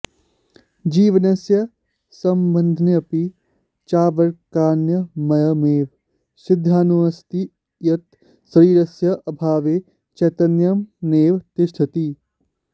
जीवनस्य सम्बन्धेऽपि चार्वकाणामयमेव सिद्धान्तोऽस्ति यत् शरीरस्य अभावे चैतन्यं नैव तिष्ठति